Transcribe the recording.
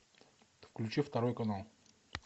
включи второй канал